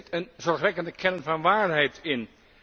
Er zit een zorgwekkende kern van waarheid in.